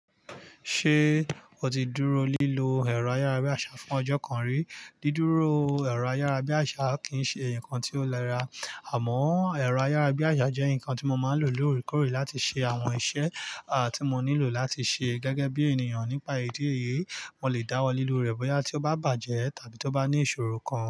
Ṣé o ti dúró lílo ẹ̀rọ ayárabíàṣá fún ọjọ́ kan rí? Dídúró ẹ̀rọ ayárabíàṣá kì ń ṣe nǹkan tí ó lẹ́ ra. Àmọ́ ẹ̀rọ ayárabíṣá jẹ́ nǹkan tí mo máa ń lò lóorekkore láti ṣe àwọn iṣẹ́ a tí mo nílò láti ṣe gẹ́gẹ́ bí ènìyàn nípa ìdí èyí. Mo lè dáwọ́ lílo rẹ̀ bóyá tí ó bá bàjẹ́ tàbí tó bá ní ìṣòro kan.